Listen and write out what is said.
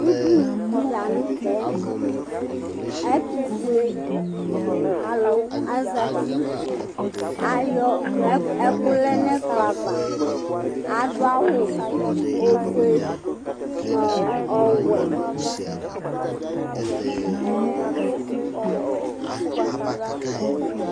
Ʋdʋnu di la ntɛ Ɛtʋfʋe alu asɛti Ayɔ ɛku lɛ nʋ ɛkplɔ ava Adu awu ɔfʋe nʋ ɔwɛ